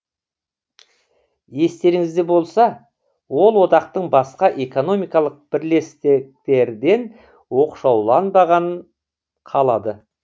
естеріңізде болса ол одақтың басқа экономикалық бірлестіктерден оқшауланбаған қалады